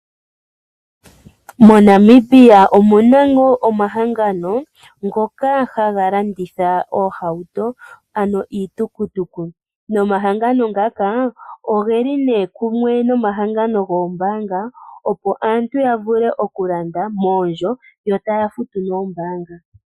Monamibia omu na ngaa omahangano ngoka ha ga landitha oohauto ano iitukutuku. Nomahangamo ngaka ogeli kumwe nomahangano goombanga opo aantu ya vule okulanda moondjo, yo taya futu noombanga.